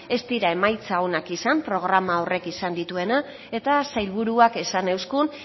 ez dira emaitza onak izan programa horrek izan dituenak eta sailburuak esan euzkun